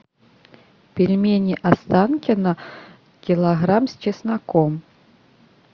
пельмени останкино килограмм с чесноком